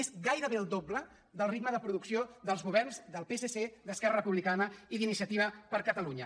és gairebé el do·ble del ritme de producció dels governs del psc d’es·querra republicana i d’iniciativa per catalunya